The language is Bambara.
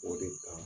O de kan